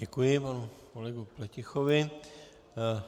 Děkuji panu kolegu Pletichovi.